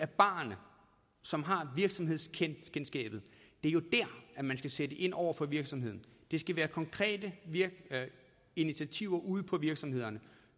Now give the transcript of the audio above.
barerne som har virksomhedskendskabet at man skal sætte ind over for virksomheden det skal være konkrete initiativer ude på virksomhederne